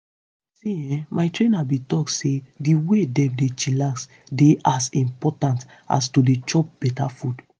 see[um]my trainer bin talk say di way dem dey chillax dey as important as to dey chop beta food.